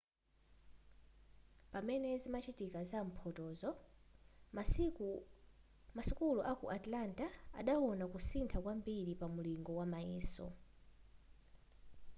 pamene zimachitika za mphotoyo masukulu aku atlanta adawona kusintha kwambiri pa mulingo wa mayeso